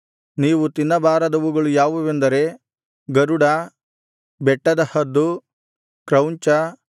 ನೀವು ತಿನ್ನಬಾರದವುಗಳು ಯಾವುವೆಂದರೆ ಗರುಡ ಬೆಟ್ಟದ ಹದ್ದು ಕ್ರೌಂಚ